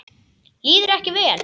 Líður ekki vel.